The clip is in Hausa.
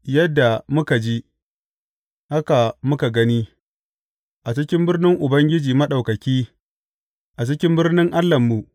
Yadda muka ji, haka muka gani a cikin birnin Ubangiji Maɗaukaki, a cikin birnin Allahnmu.